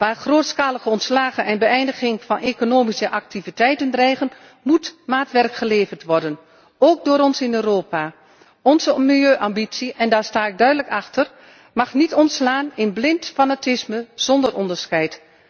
Waar grootschalige ontslagen en de beëindiging van economische activiteiten dreigen, moet maatwerk geleverd worden, ook door ons in Europa. Onze milieuambitie, en daar sta ik duidelijk achter, mag niet omslaan in blind fanatisme, zonder onderscheid.